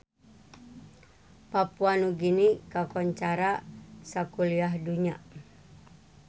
Papua Nugini kakoncara sakuliah dunya